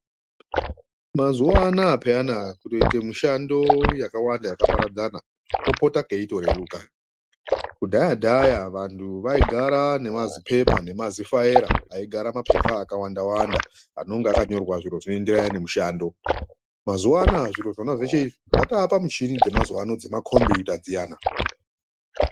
Mazuwa anaya peyana kutoita mishando yakawanda yakaparadzana kopota kweitoreruka. Kudhaya- dhaya vantu vaigara nemazipepa nemazifaira aigara mapepa akawanda wanda anonga akanyorwa zviro zvinoenderana nemushando. Mazuwa anaya zviro zveshe izvi zvatopamichini dzemakombiyuta dziyana.